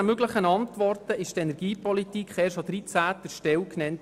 Bei 19 möglichen Antworten wurde die Energiepolitik erst an 13. Stelle genannt.